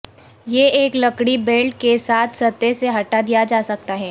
یہ ایک لکڑی بلیڈ کے ساتھ سطح سے ہٹا دیا جا سکتا ہے